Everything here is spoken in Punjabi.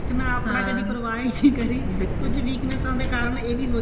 ਨਾ ਆਪਾਂ ਕਦੇ ਪ੍ਰਵਾਹ ਹੀ ਕੁੱਝ weakness ਦੇ ਕਾਰਣ ਇਹ ਵੀ ਹੋ ਜਾਂਦਾ